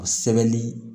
O sɛbɛnni